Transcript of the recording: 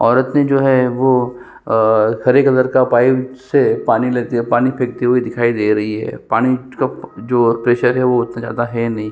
औरत ने जो है वो अ हरे कलर का पाइप से पानी लेते हुए पानी फेंकती हुई दिखाई दे रही है पानी का जो प्रेशर है वो उतना जादा है नहीं --